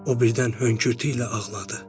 O birdən hönkürtü ilə ağladı.